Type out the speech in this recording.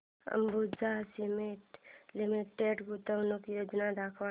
Ambuja cement limited गुंतवणूक योजना दाखव